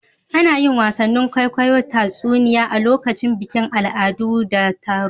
Ana yin wasan kwaikwayon tatsuniya a lokutan bikin al'adu da taru.